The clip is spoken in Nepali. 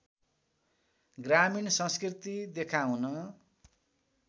ग्रामीण संस्कृति देखाउन